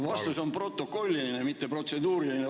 Vastus on protokolliline, mitte protseduuriline ...